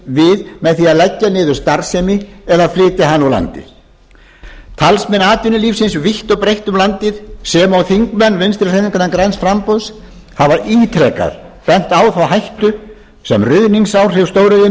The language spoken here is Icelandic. við með því að leggja niður starfsemi eða flytja hana úr landi talsmenn atvinnulífsins vítt og breitt um landið sem og þingmenn vinstri hreyfingarinnar græns framboðs hafa ítrekað bent á þá hættu sem ruðningsáhrif stóriðjunnar